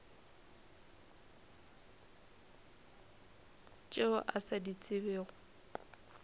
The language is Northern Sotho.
tšeo a sa di tsebego